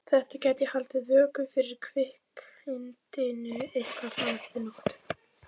Þetta gæti haldið vöku fyrir kvikindinu eitthvað fram eftir nóttu.